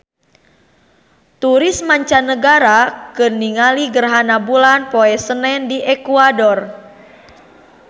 Turis mancanagara keur ningali gerhana bulan poe Senen di Ekuador